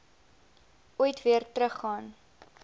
ooit weer teruggegaan